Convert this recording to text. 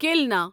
کِلنا